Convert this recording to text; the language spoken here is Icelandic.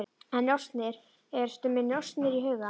En njósnir, ertu með njósnir í huga?